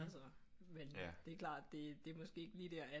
Altså men det er klart det det er måske ikke lige der at